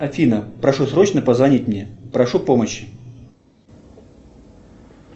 афина прошу срочно позвонить мне прошу помощи